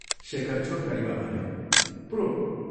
" शेखर छोटकरीमा भन्यो, "प्रोम।